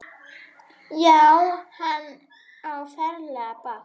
Já, hann á ferlega bágt.